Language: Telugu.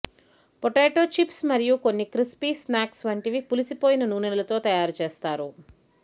పొటాటో చిప్స్ మరియు కొన్ని క్రిస్పీ స్నాక్స్ వంటివి పులిసిపోయిన నూనెలుతో తయారు చేస్తారు